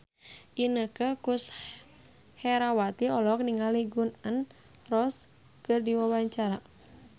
Inneke Koesherawati olohok ningali Gun N Roses keur diwawancara